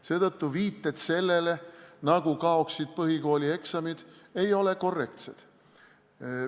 Seetõttu viited sellele, nagu kaoksid põhikoolieksamid, ei ole korrektsed.